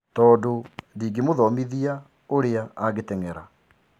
Tandũ ndigimũfundithia ũria angeteng'era.